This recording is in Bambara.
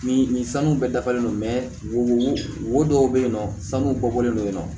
Ni nin sanu bɛɛ dafalen don wo wo dɔw bɛ yen nɔ sanu bɔlen don yen nɔ